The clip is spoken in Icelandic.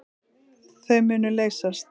Þau munu leysast.